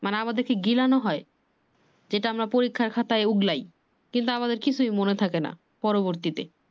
মানে আমাদের কে গিলানো হয়। যেটা আমরা পরীক্ষার খাতায় ওগলায় কিন্তু আমাদের কিছুই মনে থাকে না পরবর্তীতে।